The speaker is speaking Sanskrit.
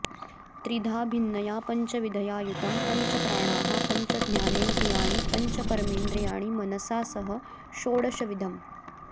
त्रिधा भिन्नया पञ्चविधया युतम् पञ्चप्राणाः पञ्चज्ञानेन्द्रियाणि पञ्च कर्मेन्द्रियाणि मनसा सह षोडशविधम्